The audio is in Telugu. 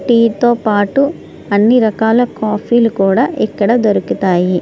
టీ తో పాటు ఇక్కడ అన్ని రకాల కాఫీ లు కూడా ఇక్కడ దొరుకుతాయి.